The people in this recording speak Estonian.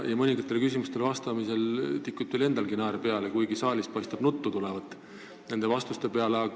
Mõningatele küsimustele vastamisel tikub teil endalgi naer peale, kuigi saalist paistab nende vastuste peale nuttu.